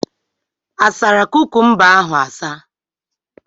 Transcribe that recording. Asara kukumba ahụ asa?